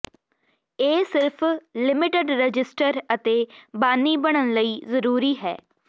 ਇਹ ਸਿਰਫ limited register ਅਤੇ ਬਾਨੀ ਬਣਨ ਲਈ ਜ਼ਰੂਰੀ ਹੈ